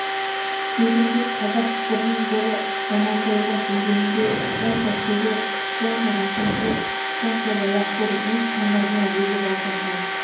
тегінде қазақ бірін бірі жамандауға келгенде сонша шебер сонша рақымсыз сонша жалақор өз тамырына өзі балта шауып